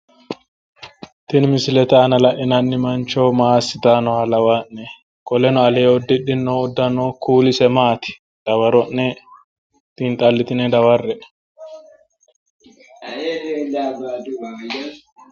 tini misilete aana la'inanni mancho maa assitanni nooha lawaa'ne? qoleno alee uddidhino uddano kuulise maati? dawaro'ne xiinxallitini dawarre''e.